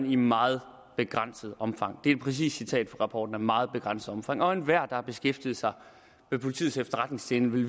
i meget begrænset omfang det er et præcist citat fra rapporten at meget begrænset omfang og enhver har beskæftiget sig med politiets efterretningstjeneste